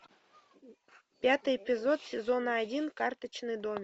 пятый эпизод сезона один карточный домик